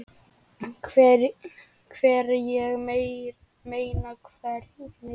Hvar, ég meina. hvernig?